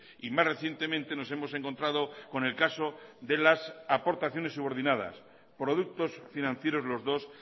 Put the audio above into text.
y más recientemente nos hemos encontrado con el caso de las aportaciones subordinadas productos financieros los dos